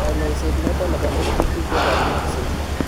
Kanyaiset noton nebo LPP kobarunaksei